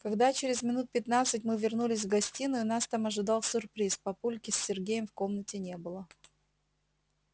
когда через минут пятнадцать мы вернулись в гостиную нас там ожидал сюрприз папульки с сергеем в комнате не было